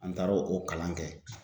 An taara o kalan kɛ